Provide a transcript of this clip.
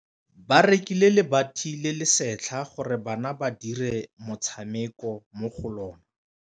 Ba rekile lebati le le setlha gore bana ba dire motshameko mo go lona.